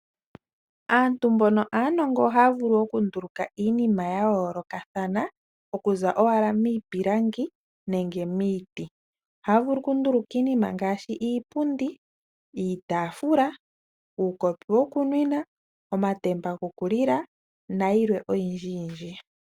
Aantu mboka aanongo oha ya vulu okunduluka iinima ya yoolokathana, okuza owala miipilangi nenge miiti. Oha ya vulu okunduluka iinima ngaashi iipundi, iitafula, uukopi wokunwina, omatemba gokulila nayilwe oyindji yindji.